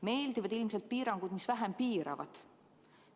Meeldivad ilmselt piirangud, mis vähem piiravad.